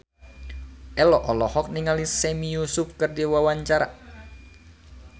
Ello olohok ningali Sami Yusuf keur diwawancara